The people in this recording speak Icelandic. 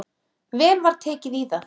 Vel var tekið í það.